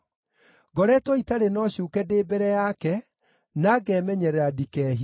Ngoretwo itarĩ na ũcuuke ndĩ mbere yake, na ngemenyerera ndikehie.